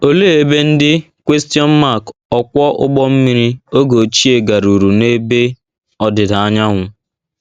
Olee ebe ndị ọkwọ ụgbọ mmiri oge ochie garuru n’ebe ọdịda anyanwụ?